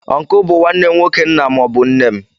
Ọncle bụ nwanne nwoke nna maọbu nne m.